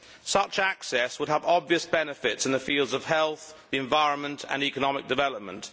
Such access would have obvious benefits in the fields of health, the environment and economic development.